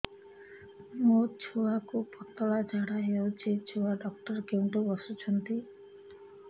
ମୋ ଛୁଆକୁ ପତଳା ଝାଡ଼ା ହେଉଛି ଛୁଆ ଡକ୍ଟର କେଉଁଠି ବସୁଛନ୍ତି